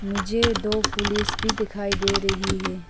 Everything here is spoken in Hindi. मुझे दो पुलिस भी दिखाई दे रही है।